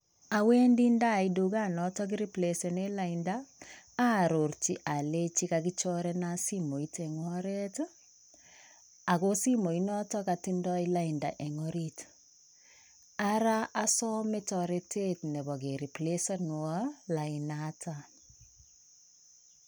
Awendi ndait tukanoton nekireplecenen lainda aarorchi olenji kakikochorenan simoit en oret ii, ago simoinoton katindo lainda en orit ara osome toretet nebo keriplecenuon lainaton.